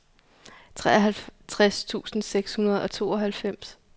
treoghalvtreds tusind seks hundrede og tooghalvfems